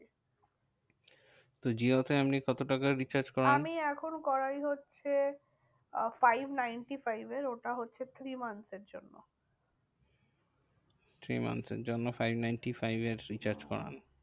তো জিও তে আপনি কত টাকার recharge করান? আমি এখন করাই হচ্ছে five ninety-five এর ওটা হচ্ছে three month এর জন্য। three month এর জন্য five ninety-five এর recharge করান।